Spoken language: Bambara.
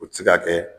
O ti se ka kɛ